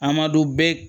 Amadu bɛɛ